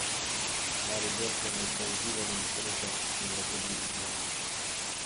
Mariborčani so izzivali nesrečo in jo tudi izzvali.